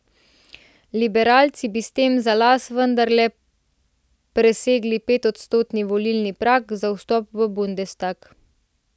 Liberalci bi s tem za las vendarle presegli petodstotni volilni prag za vstop v bundestag.